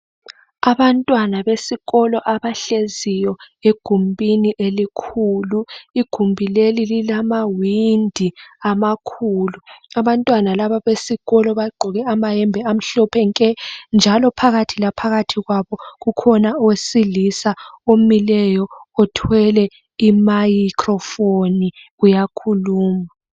Abantwana besikolo abahleziyo egumbini elikhulu, igumbi leli lilama windi amakhulu abantwana laba besikolo bagqoke amahembe amhlophe nke njalo phakathi la phakathi kwabo kukhona owesilisa omileyo othwele i micro phone uyakhuluma.